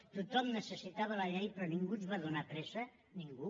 tothom necessitava la llei però ningú ens va donar pressa ningú